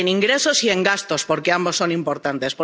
En ingresos y en gastos, porque ambos son importantes.